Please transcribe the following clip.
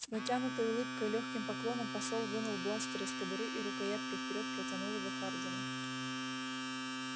с натянутой улыбкой и лёгким поклоном посол вынул бластер из кобуры и рукояткой вперёд протянул его хардину